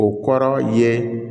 O kɔrɔ ye